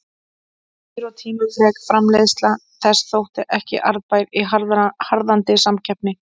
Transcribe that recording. Dýr og tímafrek framleiðsla þess þótti ekki arðbær í harðnandi samkeppni.